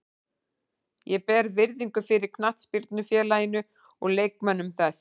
Ég ber virðingu fyrir knattspyrnufélaginu og leikmönnum þess.